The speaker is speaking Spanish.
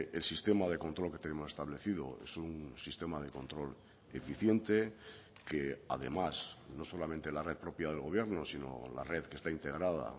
el sistema de control que tenemos establecido es un sistema de control eficiente que además no solamente la red propia del gobierno sino la red que está integrada